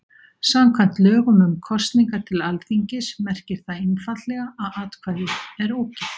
Samkvæmt lögum um kosningar til Alþingis merkir það einfaldlega að atkvæðið er ógilt.